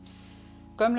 gömlum